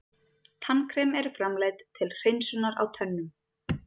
Tannkrem eru framleidd til hreinsunar á tönnum.